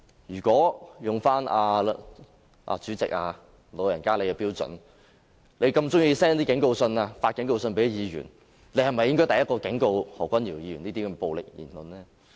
如果引用主席的標準，你這麼喜歡向議員發警告信，你是否應該第一個警告何君堯議員不要作出這些暴力言論呢？